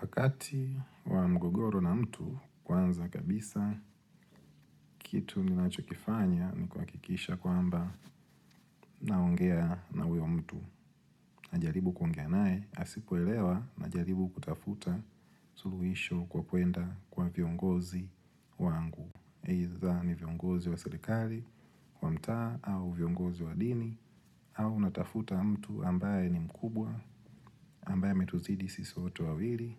Wakati wa mgogoro na mtu kwanza kabisa, kitu ninacho kifanya ni kuhakikisha kwamba naongea na huyo mtu. Najaribu kuongea nae, asipoelewa najaribu kutafuta suluhisho kwa kuenda kwa viongozi wangu. Eitha ni viongozi wa serikali, wa mta, au viongozi wa dini, au natafuta mtu ambaye ni mkubwa, ambaye ametuzidi sisi wote wawili.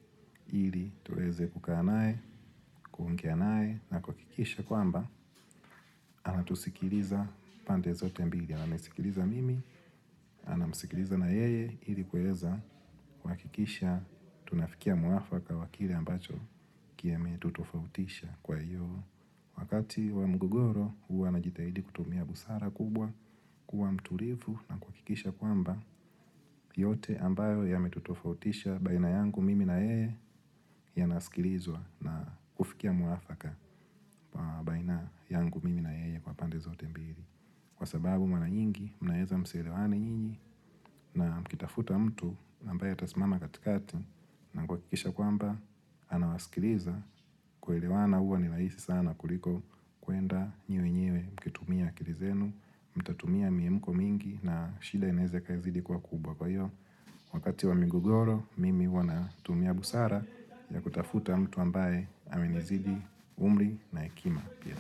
Ili tuweze kukaa nae, kuongea nae na kuhakikisha kwamba anatusikiliza pande zote mbili Amenisikiliza mimi, anamsikiliza na yeye ili kuweza kuhakikisha tunafikia mwafaka wa kile ambacho kimetutofautisha kwa hiyo Wakati wa mgogoro hua najitahidi kutumia busara kubwa kuwa mtulivu na kuhakikisha kwamba yote ambayo yametutofautisha baina yangu mimi na yeye yanasikilizwa na kufikia mwafaka baina yangu mimi na yeye kwa pande zote mbili. Kwa sababu mara nyingi, mnaweza msielewane nyinyi na mkitafuta mtu ambaye atasimama katikati na kuhakikisha kwamba, anawasikiliza kuelewana huwa ni rahisi sana kuliko kuenda nyinyi wenyewe mkitumia akili zenu, mtatumia miamko mingi na shida inaweza ikazidi ikakua kubwa kwa hiyo. Wakati wa migogoro, mimi huwa natumia busara ya kutafuta mtu ambaye aminizidi umri na akili pia.